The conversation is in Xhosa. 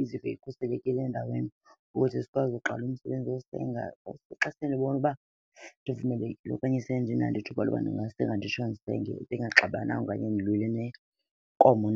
izive ikhuselekile endaweni ukuze sikwazi uqala umsebenzi esize ngawo. Xa sendibona uba ndivumelekile okanye sendinalo ithuba loba ndingasenga nditsho ndisenge ndingaxabananga okanye ndilwile nenkomo .